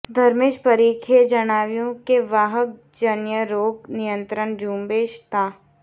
ધર્મેશ પરીખે જણાવ્યું કે વાહકજન્ય રોગ નિયંત્રણ ઝુંબેશ તા